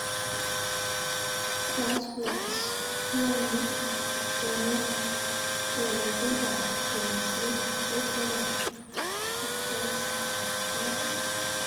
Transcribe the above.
(Sky Sports) Kione kenetik ab timisiek, tos sobe Solskjaer?